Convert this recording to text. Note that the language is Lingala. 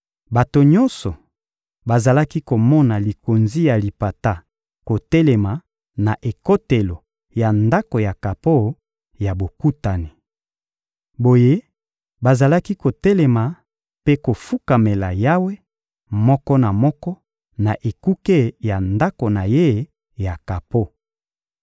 Bato nyonso bazalaki komona likonzi ya lipata kotelema na ekotelo ya Ndako ya kapo ya Bokutani. Boye bazalaki kotelema mpe kofukamela Yawe, moko na moko na ekuke ya ndako na ye ya kapo.